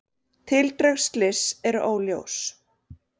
Tildrög slyss óljós